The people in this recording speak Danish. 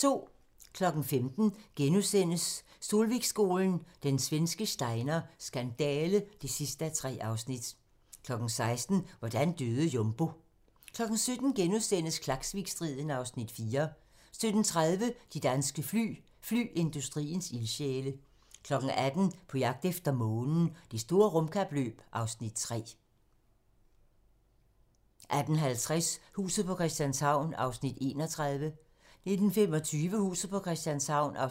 15:00: Solvikskolen – Den svenske Steiner skandale (3:3)* 16:00: Hvordan døde Jumbo? 17:00: Klaksvikstriden (Afs. 4)* 17:30: De danske fly - flyindustriens ildsjæle 18:00: På jagt efter Månen - Det store rumkapløb (Afs. 3) 18:50: Huset på Christianshavn (31:84) 19:25: Huset på Christianshavn (32:84)